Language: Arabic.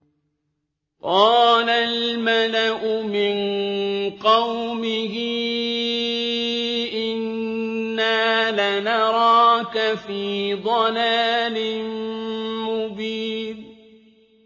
قَالَ الْمَلَأُ مِن قَوْمِهِ إِنَّا لَنَرَاكَ فِي ضَلَالٍ مُّبِينٍ